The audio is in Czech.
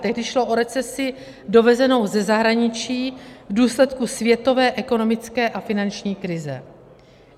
Tehdy šlo o recesi dovezenou ze zahraničí v důsledku světové ekonomické a finanční krize.